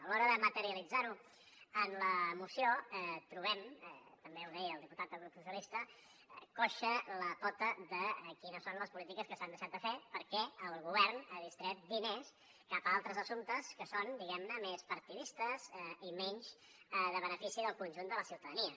a l’hora de materialitzar ho en la moció trobem també ho deia el diputat del grup socialistes coixa la pota de quines són les polítiques que s’han deixat de fer perquè el govern ha distret diners cap a altres assumptes que són diguem ne més partidistes i menys en benefici del conjunt de la ciutadania